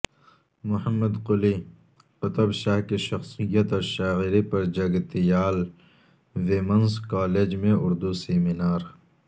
محمد قلی قطب شاہ کی شخصیت اور شاعری پر جگتیال ویمنس کالج میں اردو سمینار